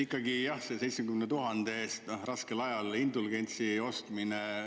Ikkagi selle 70 000 eest raskel ajal indulgentsi ostmine …